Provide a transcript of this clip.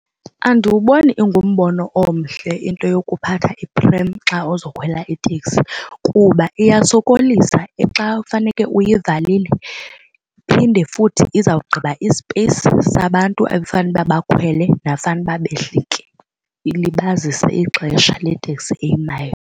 Andiwuboni ingumbono omhle into yokuphatha iprem xa uzokhwela iteksi kuba iyasokolisa xa faneke uyivalile iphinde futhi izawugqiba i-space sabantu ebefanele uba bakhwele nabafanele uba behlike ilibazisa ixesha leteksi eyimayo.